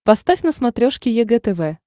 поставь на смотрешке егэ тв